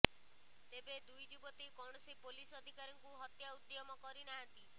ତେବେ ଦୁଇ ଯୁବତୀ କୌଣସି ପୋଲିସ ଅଧିକାରୀଙ୍କୁ ହତ୍ୟା ଉଦ୍ୟମ କରିନାହାନ୍ତି